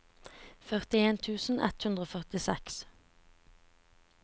førtien tusen ett hundre og førtiseks